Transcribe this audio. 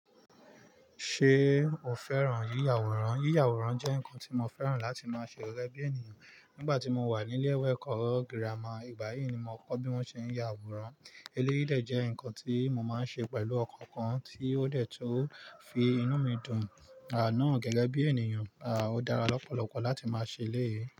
Ṣé o fẹ́ràn yíya àwòrán? Yíya àwòrán jẹ́ nǹkan tí mo fẹ́ràn láti máa ṣe gẹ́gẹ́ bí ènìyàn. Nígbà tí mo wà ní ilé ẹ̀kọ́ gírámà, ìgbà yìí ni mo kọ́ bí wón ṣe ń ya àwòrán. Eléyìí de je ǹkan tí mo máa ń ṣe pẹ̀lú ọkàn kan tí ó dẹ̀ tun fi inú mi dùn. Àná gẹ́gẹ́ bí ènìyàn, à ó dára lọ́pọ̀lọpọ̀ láti máa ṣe eléyìí.